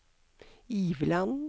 Iveland